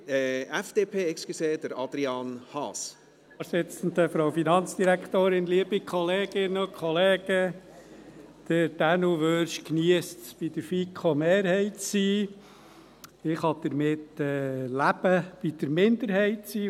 Dänu Wyrsch geniesst es, in der FiKo-Mehrheit zu sein, ich kann damit leben, in der Minderheit zu sein.